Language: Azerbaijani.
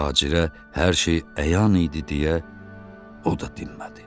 Tacirə hər şey əyan idi deyə o da dinmədi.